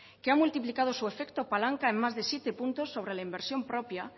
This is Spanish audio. que ha multiplicado su efecto palanca en más de siete puntos sobre la inversión propia